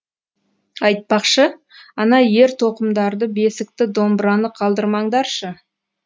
айтпақшы ана ер тоқымдарды бесікті домбыраны қалдырмаңдаршы